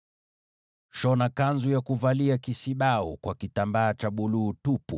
“Shona joho la kisibau lote kwa kitambaa cha rangi ya buluu tupu,